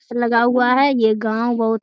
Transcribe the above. लगा हुआ है। ये गांव बहुत --